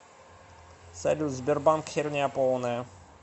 салют сбербанк херня полная